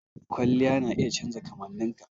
Kwalliya na iya canja kamanninka.